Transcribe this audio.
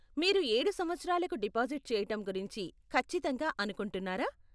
మీరు ఏడు సంవత్సరాలకు డిపాజిట్ చేయటం గురించి ఖచ్చితంగా అనుకుంటున్నారా?